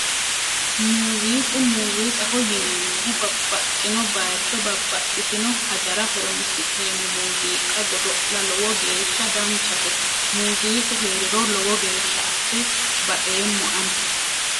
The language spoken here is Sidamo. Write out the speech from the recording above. Muuziiqa muuziiqaho yineemmohu babbaxxino baycho babbaxxitino hajara horonsi'neemmo muuziiqa godo'la lowo geeshsha danchate muuziiqu heeriro lowo geeshsha asse baxeemmo ani